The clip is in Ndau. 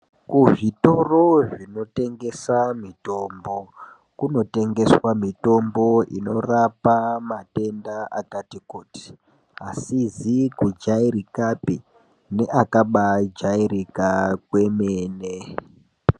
Kuzvitoro zvinotengesa mitombo kunotengeswa mitombo inorape matenda akati kuti, asizi kujairikapi neakabaajairika kwemene.